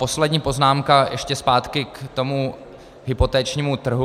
Poslední poznámka - ještě zpátky k tomu hypotečnímu trhu.